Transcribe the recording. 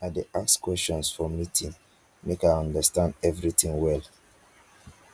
i dey ask questions for meeting make i understand everytin well